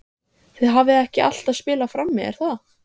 Þið hafið ekki alltaf spilað frammi er það?